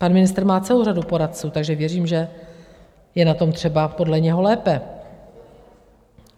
Pan ministr má celou řadu poradců, takže věřím, že je na tom třeba podle něho lépe.